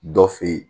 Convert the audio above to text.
Dɔ fe yen